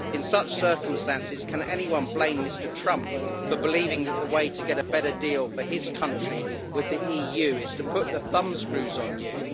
In such circumstances, can anyone blame Mr Trump for believing that the way to get a better deal for his country with the EU is to put the thumbscrews on you?